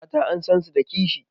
Mata an san su da kishi.